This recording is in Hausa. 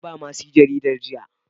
Naba mercy jaridar jiya.